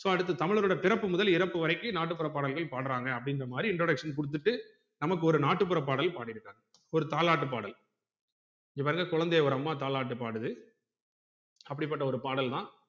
so அடுத்து தமிழரோட பிறப்பு முதல் இறப்பு வரைக்கு நாட்டு புற பாடல்கள் பாடுறாங்க அப்டிங்குற மாறி introduction குடுத்துட்டு நமக்கு ஒரு நாட்டுபுற பாடல் பாடிருக்காங்க ஒரு தாலாட்டு பாடல் இங்க பாருங்க குழந்தைய ஒரு அம்மா தாலாட்டு பாடுது அப்படி பட்ட பாடல் தான்